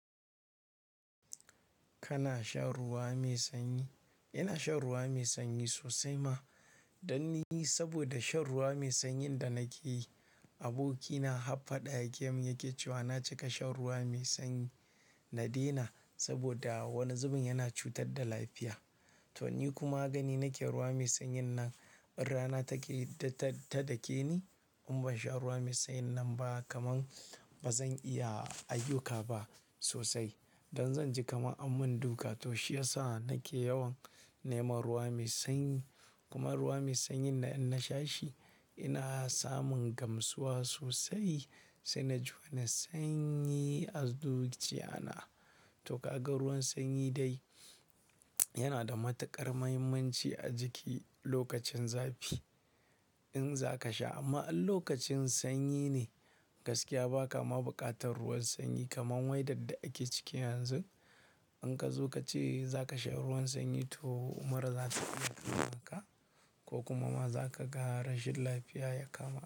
Kana shan ruwa mai sanyi? Ina shan ruwa mai sanyi sosai ma. Dan ni saboda shan ruwa mai sanyin da nake yi, abokina har faɗa yake mun yake cewa na cika shan ruwa mai sanyi na daina saboda wani zubin yana cutar da lafiya. To ni kuma gani nake ruwa mai sanyin nan in rana take ta dakeni in ban sha ruwa mai sanyin nan ba kaman bazan iya ayyuka ba sosai. Dan zanji kaman an mun duka to shiyasa nake yawan neman ruwa mai sanyi. Kuma ruwa mai sanyin nan in na sha shi ina samun gamsuwa sosai sai na ji wani sanyi a zuciya na. To ka ga ruwan sanyi dai yana da matuƙar muhimmanci a jiki lokacin zafi in zaka sha. Amma in lokacin sanyi ne gaskiya baka ma buƙatar ruwan sanyi kaman weather da ake ciki yanzun. In ka zo kace zaka sha ruwan sanyi to in mura zata iya kama ka ko kuma ma zaka ga rashin lafiya ya kama ka.